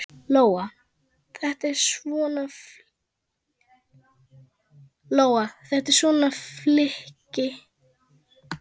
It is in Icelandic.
Lóa: Þetta er svona flykki?